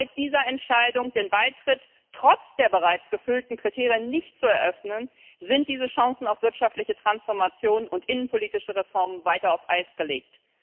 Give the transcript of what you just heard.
Aber mit dieser Entscheidung, den Beitritt trotz der bereits erfüllten Kriterien nicht zu eröffnen, sind diese Chancen auf wirtschaftliche Transformation und innenpolitische Reformen weiter auf Eis gelegt.